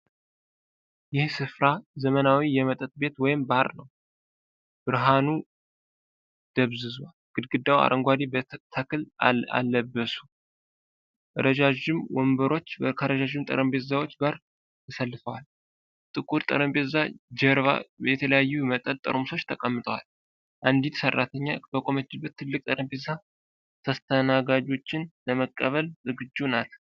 ይህ ስፍራ ዘመናዊ የመጠጥ ቤት ወይም ባር ነው። ብርሃኑ ደብዝዟል፣ ግድግዳው አረንጓዴ ተክል አለብሱ። ረዣዥም ወንበሮች ከረዣዥም ጠረጴዛዎች ጋር ተሰልፈዋል። ጥቁር ጠረጴዛ ጀርባ የተለያዩ የመጠጥ ጠርሙሶች ተቀምጠዋል። አንዲት ሠራተኛ በቆመችበት ትልቅ ጠረጴዛ ተስተናጋጆችን ለመቀበል ዝግጁ ናት።